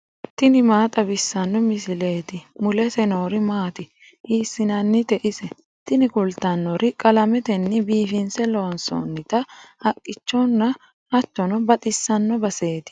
tini maa xawissanno misileeti ? mulese noori maati ? hiissinannite ise ? tini kultannori qalametenni biifinse loonsoonnita haqqichonna hattono baxisanno baseeti.